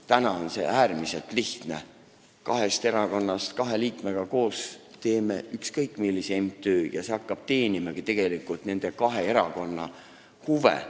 Praegu on asi äärmiselt lihtne: kahe erakonna kaks liiget teevad koos ükskõik millise MTÜ ja see hakkab teenimagi nende kahe erakonna huve.